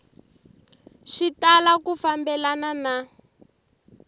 swi tala ku fambelana na